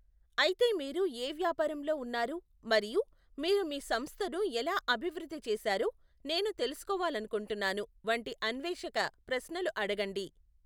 అయితే మీరు ఏ వ్యాపారంలో ఉన్నారు? మరియు, మీరు మీ సంస్థను ఎలా అభివృద్ధి చేశారో నేను తెలుసుకోవాలనుకుంటున్నాను! వంటి అన్వేషక ప్రశ్నలు అడగండి.